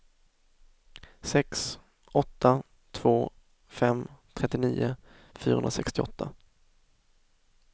sex åtta två fem trettionio fyrahundrasextioåtta